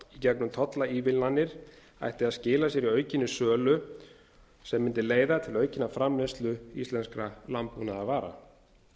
gegnum tollaívilnanir ætti að skila sér í aukinni sölu sem leiða mundi til aukinnar framleiðslu íslenskra landbúnaðarvara